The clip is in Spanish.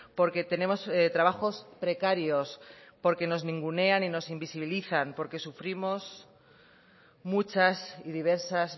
porque tenemos trabajos precarios porque nos ningunean y nos invisibilizan porque sufrimos muchas y diversas